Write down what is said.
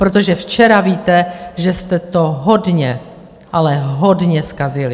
Protože včera, víte, že jste to hodně, ale hodně zkazili.